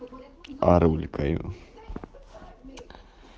арулькаю